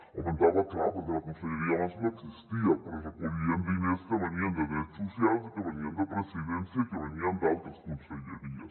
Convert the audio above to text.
augmentava clar perquè la conselleria abans no existia però es recollien diners que venien de drets socials i que venien de presidència i que venien d’altres conselleries